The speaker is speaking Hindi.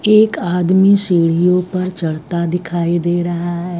एक आदमी सीढ़ियों पर चढ़ता दिखाई दे रहा है।